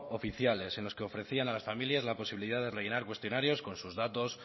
oficiales en los que ofrecían a las familias la posibilidad de rellenar cuestionarios con sus datos